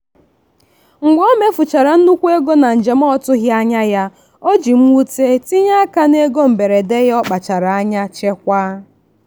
mgbe omefuchara nnukwu ego na njem ọtụghị anya ya o ji mwute tinye aka n'ego mberede ya ọkpachara anya chekwaa.